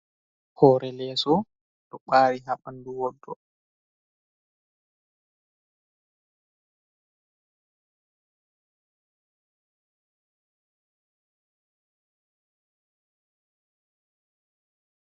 Hore leeso ɗo ɓari ha ɓandu woɗɗo.